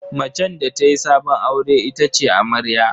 Macen da ta yi sabon aure ita ce amarya.